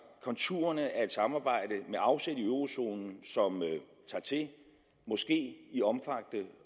konturerne af et samarbejde med afsæt i eurozonen som måske tager i omfang